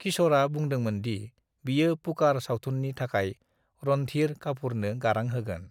किश'रा बुंदोंमोन दि बियो पुकार सावथुनि थाखाय रणधीर काफुरनो गारां होगोन।